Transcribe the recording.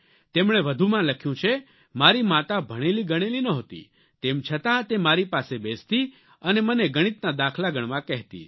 તેમણે વધુમાં લખ્યું છે મારી માતા ભણેલી ગણેલી નહોતી તેમ છતાં તે મારી પાસે બેસતી અને મને ગણિતના દાખલા ગણવા કહેતી